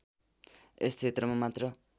यस क्षेत्रमा मात्र